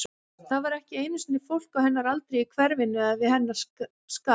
Það var ekki einu sinni fólk á hennar aldri í hverfinu, eða við hennar skap.